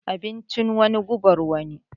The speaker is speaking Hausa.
Abincin wani gubar wani.